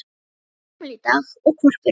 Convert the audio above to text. Hann átti afmæli í dag og hvolpurinn